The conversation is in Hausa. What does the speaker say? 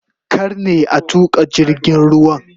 Kar ne a tuka jirgin ruwan?